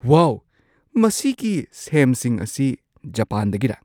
ꯋꯥꯎ! ꯃꯁꯤꯒꯤ ꯁꯦꯝꯁꯤꯡ ꯑꯁꯤ ꯖꯄꯥꯟꯗꯒꯤꯔꯥ?